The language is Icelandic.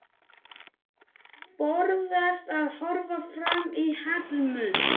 Forðast að horfa framan í Hallmund.